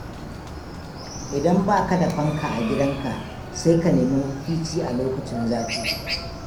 Idan baka da fanka a gidanka sai ka nemi mafici a lokacin zafi.